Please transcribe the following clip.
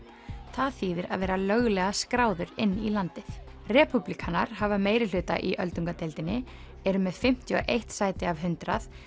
það þýðir að vera löglega skráður inn í landið repúblíkanar hafa meirihluta í öldungadeildinni eru með fimmtíu og eitt sæti af hundrað